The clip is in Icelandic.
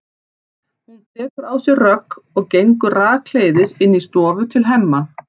Hún tekur á sig rögg og gengur rakleiðis inn í stofu til Hemma.